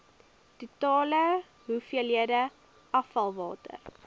totale hoeveelheid afvalwater